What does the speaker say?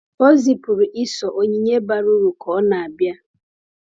O zipụrụ Esau onyinye bara uru ka ọ na-abịa.